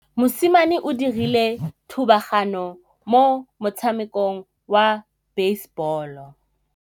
Mosimane o dirile thubaganyô mo motshamekong wa basebôlô.